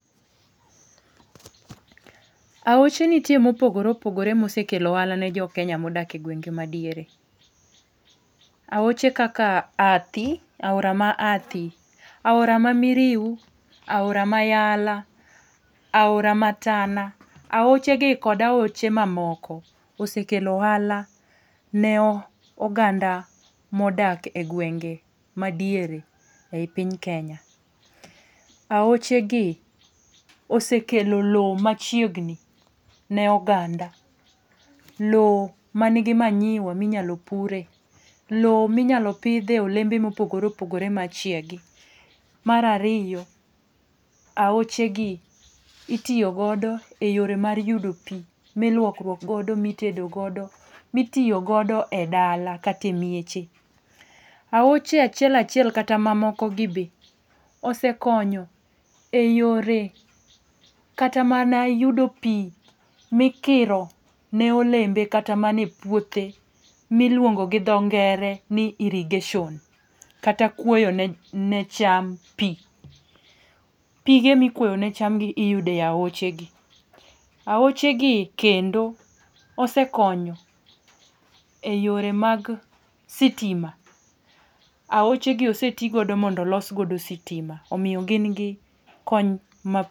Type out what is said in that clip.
Aoche nitie mopogore opogore mosekelo ohala ni jo Kenya modak e gwenge madiere. Aoche kaka Athi, aora ma Athi, aora ma Miriu, aora ma Tana. Aoche gi kod aoche mamoko osekelo ohala ne oganda modak egwenge madiere ei piny Kenya. Aochegi osekelo lowo machiegni ne oganda. Loo minyalo pure gi oganda, lowo minyalo pidhie olembe mopogore opogore machiegi. Mar ariyo, aochegi itiyo godo e yore mar yudo pi miluokruok godo, mitedo godo , mitiyo godo e dala kata e mieche. Aoche achiel achiel kata mamoko gi be osekonyo eyore kata mana yudo pi mikiro ne olembe kata mana e puothe miluongo gi dho ngere ni irrigation kata kuoyo ne cham pi. Pige mikuoyo ne cham iyudo e aochegi. Aochegi ose konyo eyore mag sitima. Aochegi oseti godo mondo olos godo sitima omiyo gin gi kony ma